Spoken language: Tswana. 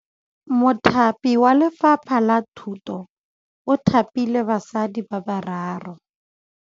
Mothapi wa Lefapha la Thutô o thapile basadi ba ba raro.